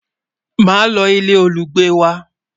má ló ilé olugbe wà